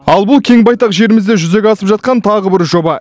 ал бұл кең байтақ жерімізде жүзеге асып жатқан тағы бір жоба